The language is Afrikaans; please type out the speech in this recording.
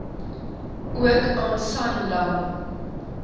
ook aan sanlam